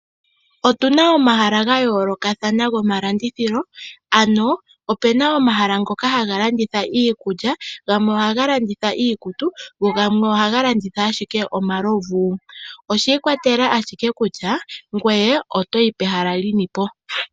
Otuna omahala ga yoolokathana gomalandithilo ano opena omahala ngoka haga landitha iikulya, gamwe ohaga landitha iikutu go gamwe ohaga landitha ashike omalovu. Oshi ikwatelela ashike kutya ngoye otoyi pehala lyinipo.